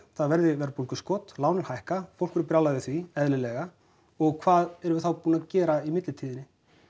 það verði verðbólguskot lánin hækka fólk verður brjálað yfir því eðlilega og hvað erum við þá búin að gera í millitíðinni